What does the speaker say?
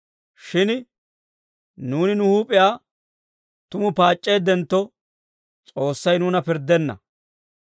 Shin nuuni nu huup'iyaa tumu paac'c'eeddentto, S'oossay nuuna pirddenna.